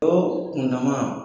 O kundama,